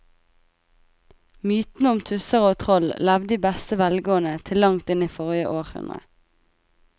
Mytene om tusser og troll levde i beste velgående til langt inn i forrige århundre.